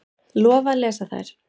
Lofa að lesa þær.